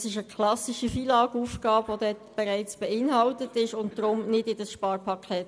Das ist eine klassische FILAGAufgabe und gehört deshalb nicht in dieses Sparpaket.